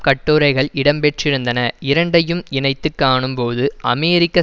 கட்டுரைகள் இடம் பெற்றிருந்தன இரண்டையும் இணைத்து காணும்போது அமெரிக்க